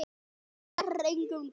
Hún gerir engum gott.